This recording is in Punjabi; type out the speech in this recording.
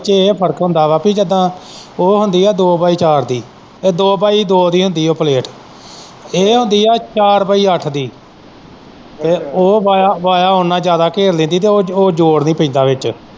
ਇਹਦੇ ਚ ਇਹ ਫ਼ਰਕ ਹੁੰਦਾ ਵਾ ਜਿੱਦਾ ਉਹ ਹੁੰਦੀ ਦੋ ਪਾਈ ਚਾਰ ਦੀ ਇਹ ਦੋ ਪਾਈ ਦੋ ਦੀ ਹੁੰਦੀ, ਉਹ ਪਲੇਟ ਇਹ ਹੁੰਦੀ ਆ ਚਾਰ ਪਾਈ ਅੱਠ ਦੀ ਉਹ ਵਾਇਆਂ, ਵਾਇਆ ਉਹਨਾਂ ਜ਼ਿਆਦਾ ਘੇਰ ਲੈਂਦੀ ਤੇ ਉਹ ਜੋੜ ਨੀ ਪੈਂਦਾ ਵਿੱਚ।